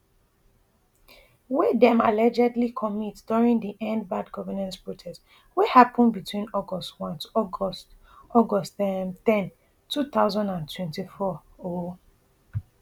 wey dem allegedly commit during di end bad governance protest wey happen between august one to august august um ten two thousand and twenty-four um